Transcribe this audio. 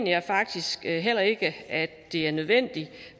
jeg faktisk heller ikke at det er nødvendigt